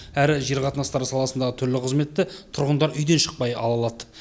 әрі жер қатынастары саласындағы түрлі қызметті тұрғындар үйден шықпай ала алады